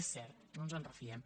és cert no ens en refiem